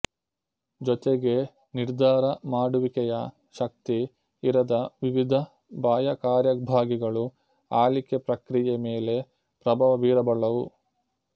ಜೊತೆಗೆ ನಿರ್ಧಾರ ಮಾಡುವಿಕೆಯ ಶಕ್ತಿ ಇರದ ವಿವಿಧ ಬಾಹ್ಯ ಕಾರ್ಯಭಾಗಿಗಳು ಆಳಿಕೆ ಪ್ರಕ್ರಿಯೆ ಮೇಲೆ ಪ್ರಭಾವ ಬೀರಬಲ್ಲವು